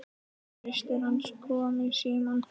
Systir hans kom í símann.